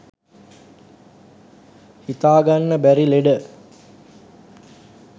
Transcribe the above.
හිතාගන්න බැරි ලෙඩ